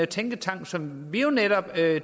tænketank som vi jo netop satte